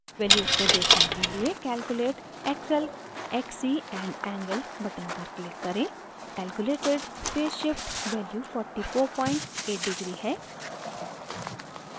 values को देखने के लिए calculate xl xc and angle button पर click करें calculated phase shift values 448 deg है